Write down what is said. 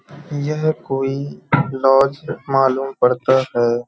यह कोई लॉज मालूम पड़ता है।